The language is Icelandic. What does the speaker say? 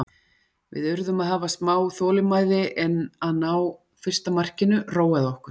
Við urðum að hafa smá þolinmæði en að ná fyrsta markinu róaði okkur.